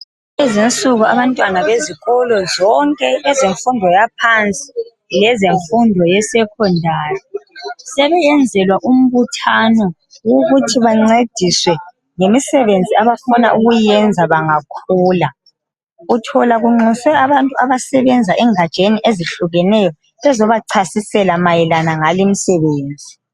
Kulezinsuku abantwana bezikolo zonke kwezemfundo yaphansi lezemfundo yaphezulu. Sebesenzelwa imbhthano yokuthi bancediswe ngemisebenzi abafuna ukuyenza bangakhula. Uthola kunxuswe abantu abasebenza kungatsga ezihlukeneyo bezobachasisela ngale imisebenzi.